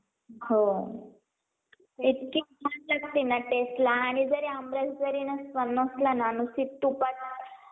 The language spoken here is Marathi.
अं भुईमुंग असते, अं कापूस असते, सोयाबिन असते. अं मोसंबी, संत्रा म्हणून, असे इतर प्रकारचे जे ही, अं आपण शेतीमध्ये पेरलेले बी असते,